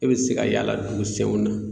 E be se ka yaala dugusenw na